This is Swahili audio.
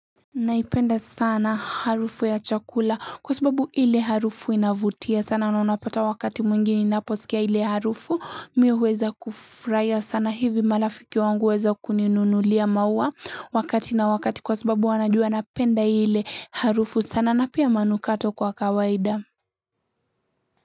Naipenda sana harufu ya chakula kwa sababu ile harufu inavutia sana na unapata wakati mwingi ninaposikia ile harufu mi huweza kufuraia sana hivi malafiki wangu weza kuninunulia maua wakati na wakati kwa sababu wanajua napenda ile harufu sana na pia manukato kwa kawaida.